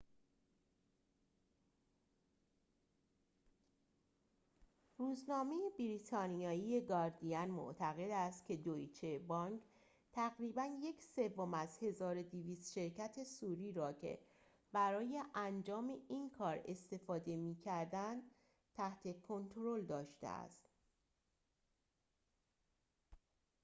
روزنامه بریتانیایی گاردین معتقد است که دویچه بانک تقریباً یک سوم از ۱۲۰۰ شرکت صوری را که برای انجام این کار استفاده می‌کردند تحت کنترل داشته است